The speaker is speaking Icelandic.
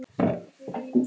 Ásta Júlía.